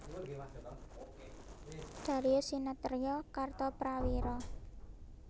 Darius Sinathrya Kartoprawiro